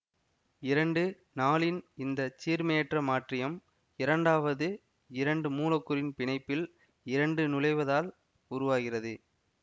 இரண்டு நாலின் இந்த சீர்மையற்ற மாற்றீயம் இரண்டாவது இரண்டு மூலக்கூறின் பிணைப்பில் இரண்டு நுழைவதால் உருவாகிறது